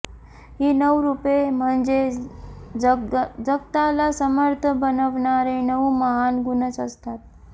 ही नऊ रूपे म्हणजे जगताला समर्थ बनवणारे नऊ महान गुणच असतात